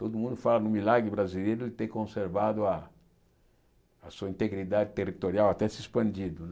Todo mundo fala no milagre brasileiro de ter conservado a sua integridade territorial, até se expandido.